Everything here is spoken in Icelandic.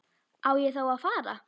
Á ég þá að fara.